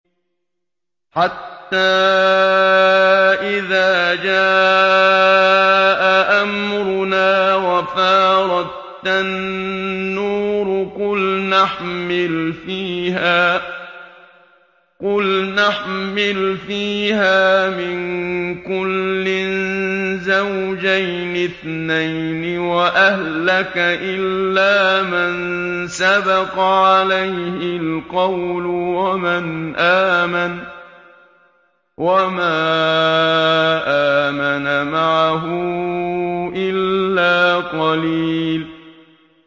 حَتَّىٰ إِذَا جَاءَ أَمْرُنَا وَفَارَ التَّنُّورُ قُلْنَا احْمِلْ فِيهَا مِن كُلٍّ زَوْجَيْنِ اثْنَيْنِ وَأَهْلَكَ إِلَّا مَن سَبَقَ عَلَيْهِ الْقَوْلُ وَمَنْ آمَنَ ۚ وَمَا آمَنَ مَعَهُ إِلَّا قَلِيلٌ